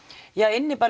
inni